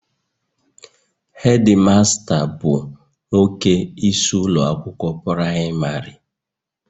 Hedimasta bụ nwoke isi ụlọ akwụkwọ praịmarị